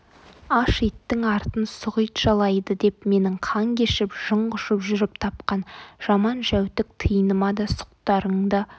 аш иттің артын сұқ ит жалайды деп менің қан кешіп жын құшып жүріп тапқан жаман-жәутік тиыныма да сұқтарыңды